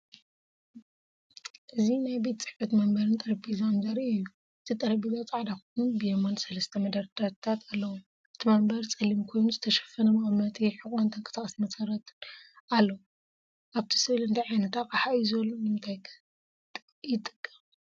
እዚ ናይ ቤት ጽሕፈት መንበርን ጠረጴዛን ዘርኢ እዩ። እቲ ጠረጴዛ ጻዕዳ ኮይኑ፡ ብየማን ሰለስተ መደርደሪታት ኣለዎ። እቲ መንበር ጸሊም ኮይኑ ዝተሸፈነ መቐመጢ ሕቖን ተንቀሳቓሲ መሰረትን ኣለዎ። ኣብቲ ስእሊ እንታይ ዓይነት ኣቕሓ እዩ ዘሎ? ንምንታይ ከይጠቅም?